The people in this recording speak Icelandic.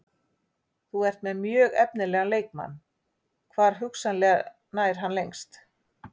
Þú ert með mjög efnilegan leikmann, hvar hugsanlega nær hann lengst?